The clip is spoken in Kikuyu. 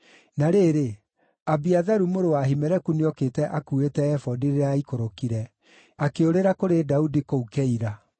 (Na rĩrĩ, Abiatharu mũrũ wa Ahimeleku nĩokĩte akuuĩte ebodi rĩrĩa aikũrũkire, akĩũrĩra kũrĩ Daudi kũu Keila.)